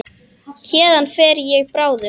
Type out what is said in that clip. Héðan fer ég bráðum.